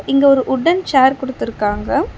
இங்க ஒரு wooden chair குடுத்துருக்காங்க.